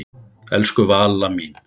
Elsku Valla mín.